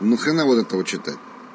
на хрена вот это вот читать